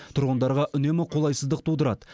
тұрғындарға үнемі қолайсыздық тудырады